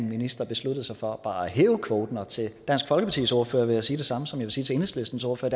minister beslutter sig for bare at hæve kvoten og til dansk folkepartis ordfører vil jeg sige det samme som jeg vil sige til enhedslistens ordfører